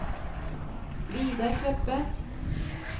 Vidar Kleppe